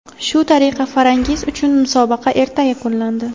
Shu tariqa Farangiz uchun musobaqa erta yakunlandi.